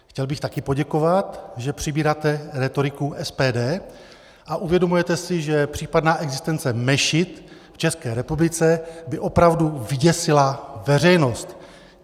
Chtěl bych taky poděkovat, že přebíráte rétoriku SPD a uvědomujete si, že případná existence mešit v České republice by opravdu vyděsila veřejnost.